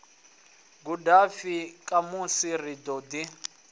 gudafhi khamusi ri ḓo ḓi